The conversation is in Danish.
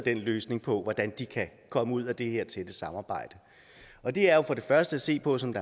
en løsning på hvordan de kan komme ud af det her tætte samarbejde og det er jo for det første at se på som